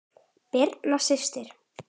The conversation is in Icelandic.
Birna systir.